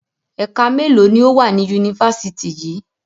Ẹ̀ka mélòó ni ó wà ní Yunifásítì yìí?